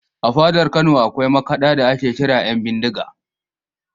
A fadar Kano akwai makaɗa da ake kira ‘Yanbindiga